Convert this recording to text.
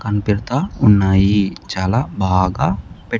కనిపెడతా ఉన్నాయి చాలా బాగా పెట్--